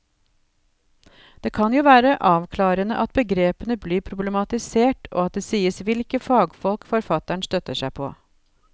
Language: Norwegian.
Det kan jo være avklarende at begrepene blir problematisert og at det sies hvilke fagfolk forfatteren støtter seg på.